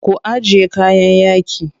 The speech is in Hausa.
Ku ajiye kayan yaƙi.